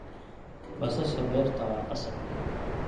Basasha beerta waa qasab.